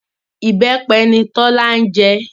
Ìbẹ́pẹ ni Tọ́lá jẹ